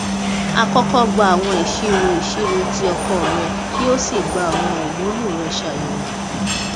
akọkọ gba awọn iṣiro iṣiro ti ọkọ rẹ ki o si gba awọn homonu rẹ ṣayẹwo